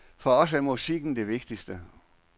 For os er musikken det vigtige.